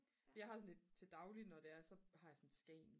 jeg har sådan et til daglig når det er så har jeg sådan et Skagen